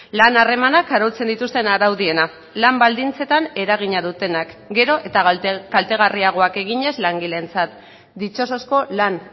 lan harremanak arautzen dituzten araudiena lan baldintzetan eragina dutenak gero eta kaltegarriagoak eginez langileentzat ditxosozko lan